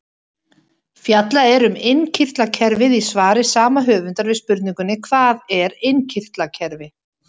Fjallað er um innkirtlakerfið í svari sama höfundar við spurningunni Hvað er innkirtlakerfi?